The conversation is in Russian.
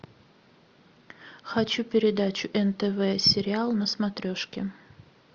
хочу передачу нтв сериал на смотрешке